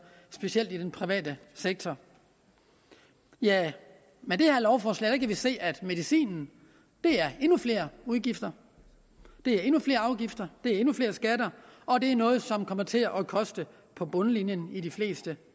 specielt i den private sektor tja med det her lovforslag kan vi se at medicinen er endnu flere udgifter endnu flere afgifter endnu flere skatter og det er noget som kommer til at koste på bundlinjen i de fleste